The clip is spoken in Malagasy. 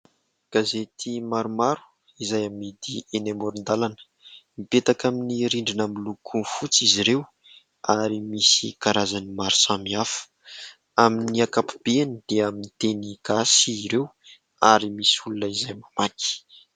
Gazety maromaro izay amidy eny amoron-dalana. Mipetaka amin'ny rindrina miloko fotsy izy ireo ary misy karazany maro samihafa. Amin'ny ankapobeny dia amin'ny teny gasy ireo ary misy olona izay mamaky.